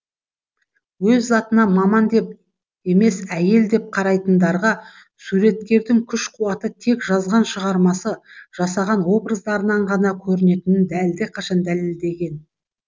өз затына маман деп емес әйел деп қарайтындарға суреткердің күш қуаты тек жазған шығармасы жасаған образдарынан ғана көрінетінін әлдеқашан дәлелдеген